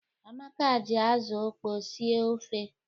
Amaka ji azụ okpọ sie ofe.